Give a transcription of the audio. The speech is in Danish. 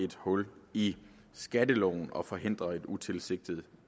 et hul i skatteloven og forhindrer et utilsigtet